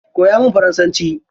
Koya min faransanci.